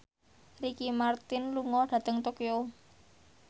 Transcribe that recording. Ricky Martin lunga dhateng Tokyo